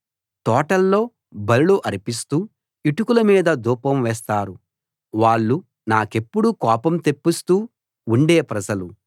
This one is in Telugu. తోటల్లో బలులు అర్పిస్తూ ఇటుకల మీద ధూపం వేస్తారు వాళ్ళు నాకెప్పుడూ కోపం తెప్పిస్తూ ఉండే ప్రజలు